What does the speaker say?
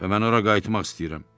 Və mən ora qayıtmaq istəyirəm.